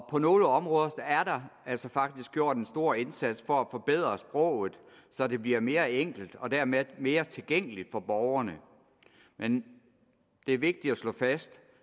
på nogle områder er der altså faktisk gjort en stor indsats for at forbedre sproget så det bliver mere enkelt og dermed mere tilgængeligt for borgerne men det er vigtigt at slå fast